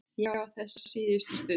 Ég á þessa síðustu stund.